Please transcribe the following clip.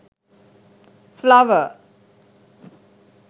flower